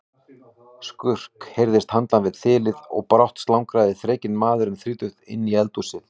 Skurk heyrðist handan við þilið og brátt slangraði þrekinn maður um þrítugt inn í eldhúsið.